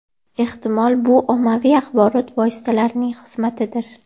Ehtimol, bu ommaviy axborot vositalarining xizmatidir.